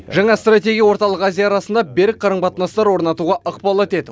жаңа стратегия орталық азия арасында берік қарым қатынастар орнатуға ықпал етеді